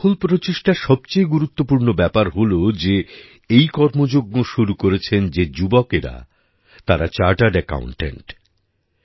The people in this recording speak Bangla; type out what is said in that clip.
এই সফল প্রচেষ্টার সবচেয়ে গুরুত্বপূর্ণ ব্যাপার হল যে এই কর্মযজ্ঞ শুরু করেছেন যে যুবকেরা তারা চার্টার্ড একাউন্টেন্ট